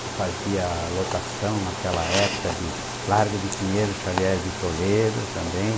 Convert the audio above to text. que fazia lotação naquela época de Largo de Pinheiro, Xavier de Toledo também.